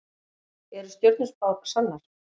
Eru stjörnuspár sannar?